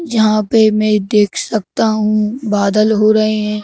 यहाँ पे मैं देख सकता हूँ बादल हो रहे हैं।